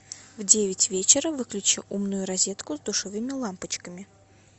в девять вечера выключи умную розетку с душевыми лампочками